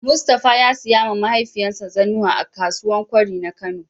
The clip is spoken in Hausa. mustapha ya siya ma mahaifiyan sa zannuwa a kakuwau kwari na Kano.